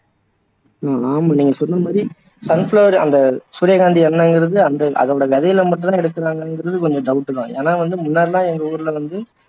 ஹம் ஆமா நீங்க சொன்ன மாதிரி sunflower அந்த சூரியகாந்தி எண்ணெயங்கிறது அந்த அதோட விதையில மட்டுந்தான் எடுக்கிறாங்கங்கிறது கொஞ்சம் doubt தான் ஏன்னா வந்து முன்னாடி எல்லாம் எங்க ஊர்ல வந்து